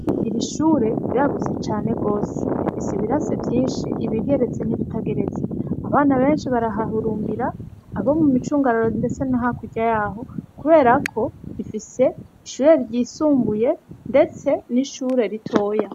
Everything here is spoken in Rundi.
Iri shure riragutse cane gose. Rifise ibirasi vyinshi, ibigeretse n'ibitageretse. Abana benshi barahahurumbira, abari mu micungararo ndetse no hakurya yaho kuberako rifise ishure ryisumbuye ndetse n'ishure ritoya.